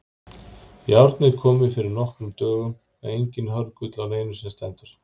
Járnið komið fyrir nokkrum dögum og enginn hörgull á neinu sem stendur.